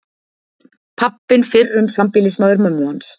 Pabbinn fyrrum sambýlismaður mömmu hans.